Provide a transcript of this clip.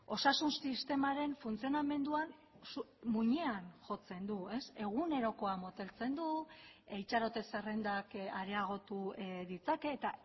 osasun sistemaren funtzionamenduan muinean jotzen du egunerokoa moteltzen du itxarote zerrendak areagotu ditzake eta